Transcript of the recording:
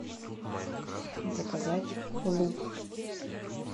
заказать лук